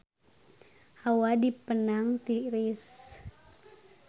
Hawa di Penang tiris